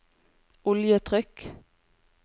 oljetrykk